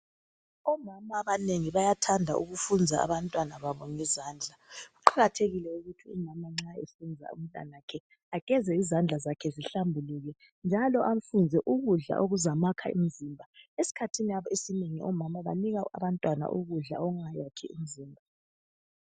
Omama abanengi bayathanda ukufunza abantwana babo ngezandla kuqakathekile ukuthi umama nxa ezafunza umntanakhe ageze izandla zakhe zihlambuluke njalo amfunze ukudla okuzamakha umzimba esikhathini esinengi omama abanengi banika abantwababo ukudla okungakhi mzimba